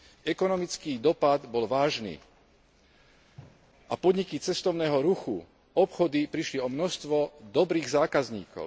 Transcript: Ekonomický dopad bol vážny a podniky cestovného ruchu, obchody prišli o množstvo dobrých zákazníkov.